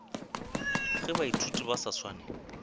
ge baithuti ba sa swane